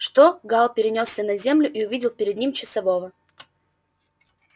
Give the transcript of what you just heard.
что гаал перенёсся на землю и увидел перед ним часового